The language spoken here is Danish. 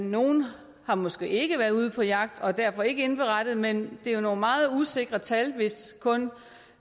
nogle har måske ikke været ude på jagt og har derfor ikke indberettet men det er jo nogle meget usikre tal hvis kun